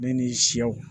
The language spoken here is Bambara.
Ne ni sɛw